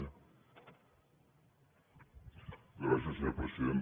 gràcies senyor president